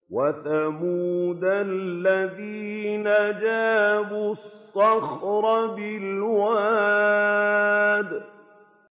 وَثَمُودَ الَّذِينَ جَابُوا الصَّخْرَ بِالْوَادِ